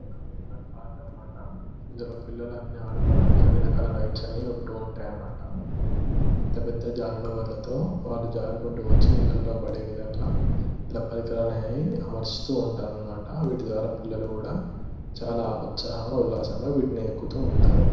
ఒక amusement park అన్నమాట ఇందులో పిల్లలు అనీ ఆడుకోవడానికి అన్నిరకాల రైట్స్ ఉంటాయి అన్నమాట పెద్దపెద్ద జారుడుబల్లతో వాళ్ళు జారకుటు వచ్చి నీళ్లలో పడే విధంగా ఇలా ప్రరికారాలు అనేవి టారు అముర్సుతుఅన్నమాట వీటిద్వారా పిల్లలు కూడా చాలా ఉల్లసంగా ఉస్సహంగా వీటిని ఎక్కుతుంటారు.